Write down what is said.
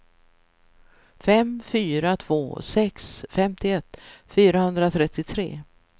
fem fyra två sex femtioett fyrahundratrettiotre